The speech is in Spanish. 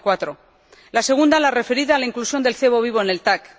0,4. La segunda, la referida a la inclusión del cebo vivo en el TAC.